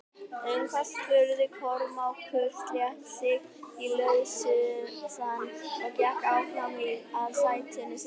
Um hvað spurði Kormákur, sleit sig lausann og gekk áfram að sætinu sínu.